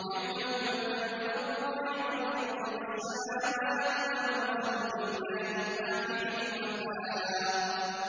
يَوْمَ تُبَدَّلُ الْأَرْضُ غَيْرَ الْأَرْضِ وَالسَّمَاوَاتُ ۖ وَبَرَزُوا لِلَّهِ الْوَاحِدِ الْقَهَّارِ